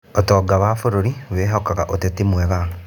Ũtonga wa bũrũri wĩhokaga ũteti mwega.